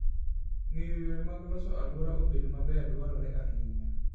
Ng'eyo yore mag loso alwora obed maber dwarore ahinya.